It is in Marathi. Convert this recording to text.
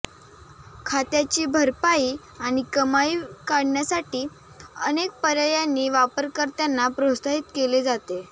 खात्याची भरपाई आणि कमाई काढण्यासाठी अनेक पर्यायांनी वापरकर्त्यांना प्रोत्साहित केले जाते